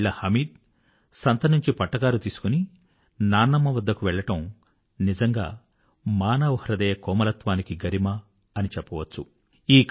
45 ఏళ్ళ హామిద్ సంత నుంచి పట్టకారు తీసుకొని నాన్నమ్మ వద్దకు వెళ్ళడం నిజంగా మానవహృదయకోమలత్వానికి గరిమ అని చెప్పవచ్చు